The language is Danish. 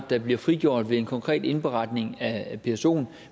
der bliver frigjort ved en konkret indberetning af psoen